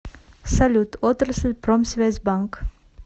салют отрасль промсвязьбанк